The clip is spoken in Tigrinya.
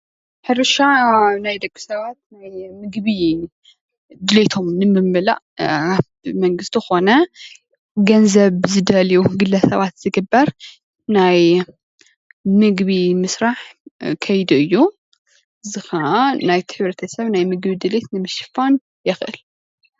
ሕርሻ ናይ ደቂ ሰባት ናይ ምግቢ ድልየቶም ንምምላእ መንግስቲ ኮነ ገንዘብ ብዝደልዩ ግለሰባት ዝግበር ናይ ምግቢ ምስራሕ ከይዲ እዩ፣ እዚ ከዓ ናይቲ ሕ/ሰብ ናይ ምግቢ ድሌት ንምሽፋን የክእል፡፡